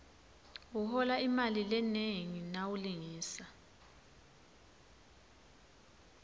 uhola imali lenengi nawulingisa